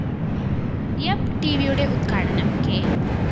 യാപ്‌ ടിവിയുടെ ഉദ്ഘാടനം കെ